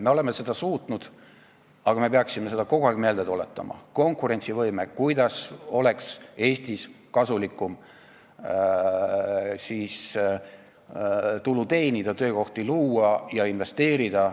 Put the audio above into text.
Me oleme seda suutnud, aga me peaksime kogu aeg meelde tuletama konkurentsivõimet, seda, kuidas Eestis oleks kasulikum tulu teenida, töökohti luua ja investeerida.